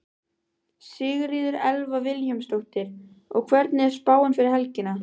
Sigríður Elva Vilhjálmsdóttir: Og hvernig er spáin fyrir helgina?